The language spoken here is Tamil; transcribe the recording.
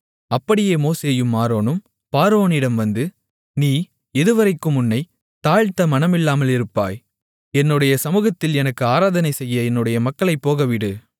அப்படியே மோசேயும் ஆரோனும் பார்வோனிடம் வந்து நீ எதுவரைக்கும் உன்னைத் தாழ்த்த மனமில்லாமல் இருப்பாய் என்னுடைய சமுகத்தில் எனக்கு ஆராதனைசெய்ய என்னுடைய மக்களைப் போகவிடு